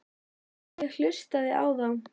Ég hlustaði á þá.